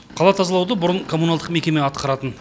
қала тазалауды бұрын коммуналдық мекеме атқаратын